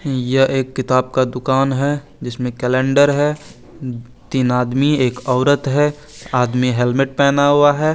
Year है किताब का दुकान है जिसमे कैलेंडर है तीन आदमी एक ओरत है आदमी हैलमेट पहना हुआ है।